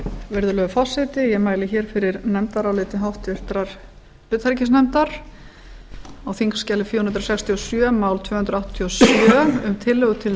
virðulegur forseti ég mæli hér fyrir nefndaráliti háttvirtur utanríkisnefndar á þingskjali fjögur hundruð sextíu og sjö mál tvö hundruð áttatíu og sjö um tillögu til